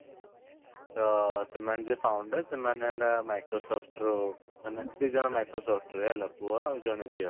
ତ ସେମାନେ ଯିଏ founder ସେମାନେ ହେଲା microsoft ର ମାନେ ଦୁଇଜଣ microsoft ରେ ହେଲା ପୁଅ ଆଉ ଜଣେ ଝିଅ